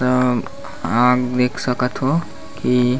आप देख सकत हो की--